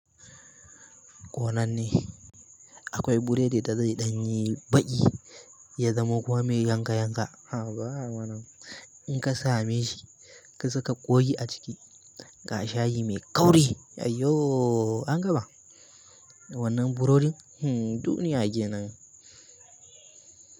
Ko nan ne. Akwai buredi da zai ɗanyi baki, ya zamo kuma mai yanka yanka. A ba a mana. In ka same shi, ka saka ƙoyi a ciki, ga shayi mai kauri. Ayyo! An gama. Wannan burodin? Hmm duniya kenan.